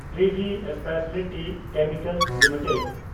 Privi speciality chemicals limited